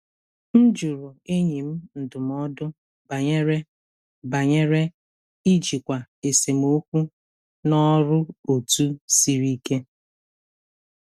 M jụrụ enyi m ndụmọdụ banyere banyere ijikwa esemokwu na ọrụ otu siri ike.